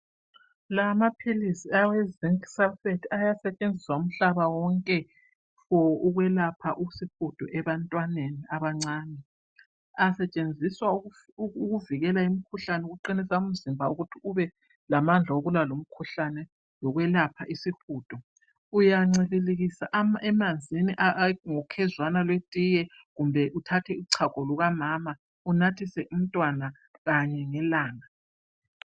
La amaphilizi awe zinc sulphate ayasetshenziswa uhlaba wonke for ukwelapha isihudo ebantwaneni abancane ,asetshenziswa ukuvikela imikhuhlane ukuqinisa umzimba ukuthi ubelamandla wokulwa lomkhuhlane lokwelapha isihudo uyancibilikisa emanzini ngokhezwana lwetiye kumbe uthathe uchago lukamama unathise umntwana kanye ngelanga.